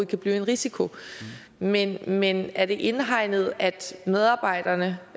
kan blive en risiko men men er det indhegnet at medarbejderne